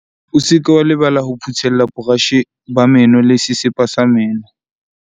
O se ke wa lebala ho phuthella borashe ba meno le sesepa sa meno.